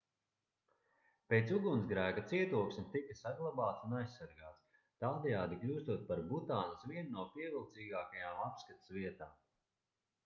pēc ugunsgrēka cietoksnis tika saglabāts un aizsargāts tādējādi kļūstot par butānas vienu no pievilcīgākajām apskates vietām